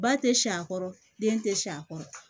Ba tɛ siɲɛ kɔrɔ den tɛ si a kɔrɔ